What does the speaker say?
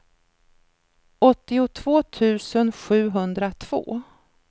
åttiotvå tusen sjuhundratvå